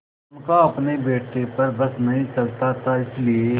उनका अपने बेटे पर बस नहीं चलता था इसीलिए